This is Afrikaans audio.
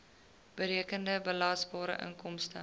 berekende belasbare inkomste